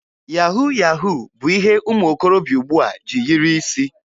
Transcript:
Yahu yahu bụ ihe ụmụ okorobịa ugbua ji yiri isi.